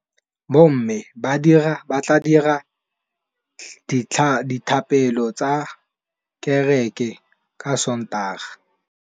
Bommê ba tla dira dithapêlô kwa kerekeng ka Sontaga.